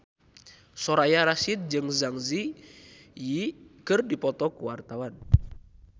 Soraya Rasyid jeung Zang Zi Yi keur dipoto ku wartawan